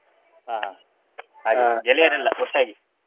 ಹಾ ಹಾಗೆ ಗೆಳೆಯರೆಲ್ಲ ಒಟ್ಟಾಗಿ.